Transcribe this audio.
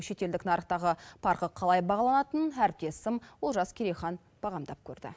шетелдік нарықтағы парқы қалай бағаланатынын әріптесім олжас керейхан бағамдап көрді